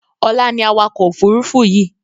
Ọlá ni awakọ̀ Òfurufú yii